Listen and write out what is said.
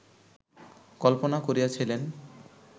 কল্পনা করিয়াছিলেন